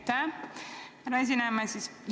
Aitäh, härra aseesimees!